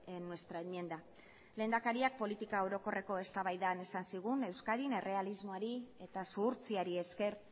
en nuestra enmienda lehendakariak politika orokorreko eztabaidan esan zigun euskadin errealismoari eta zuhurtziari esker